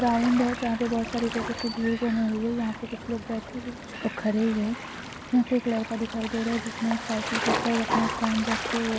ground है जहा पे बहुत सारे जैसे की भीड़ जमी हुई है यहा पे कुछ लोग बैठे हुए कुछ लोग खड़े हुए है यहा पे एक लड़का दिखाई दे रहा है जिसमे साइकल करता हुआ अपना स्टँड रखे वो --